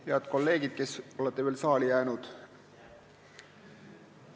Head kolleegid, kes olete veel saali jäänud!